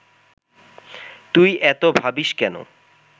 তুই এত ভাবিস্ কেন